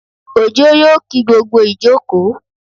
Òjó yóò kí gbogbo ìjókòó